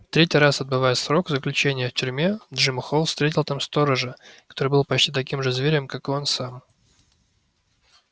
третий раз отбывая срок заключения в тюрьме джим холл встретил там сторожа который был почти таким же зверем как и он сам